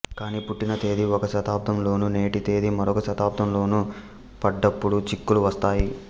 కాని పుట్టిన తేదీ ఒక శతాబ్దం లోను నేటి తేదీ మరొక శతాబ్దం లోను పడ్డప్పుడు చిక్కులు వస్తాయి